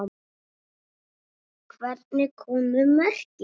Hvernig komu mörkin?